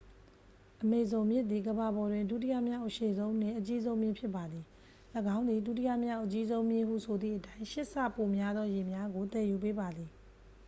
အမေဇုန်မြစ်သည် ကမ္ဘာပေါ်တွင် ဒုတိယမြောက်အရှည်ဆုံးနှင့် အကြီးဆုံးမြစ်ဖြစ်ပါသည် ၎င်းသည် ဒုတိယမြောက်အကြီးဆုံးမြစ်ဟုဆိုသည့်အတိုင်း 8 ဆပိုများသောရေများကို သယ်ယူပေးပါသည်